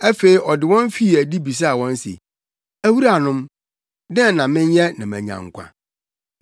Afei ɔde wɔn fii adi bisaa wɔn se, “Awuranom, dɛn na menyɛ na manya nkwa?”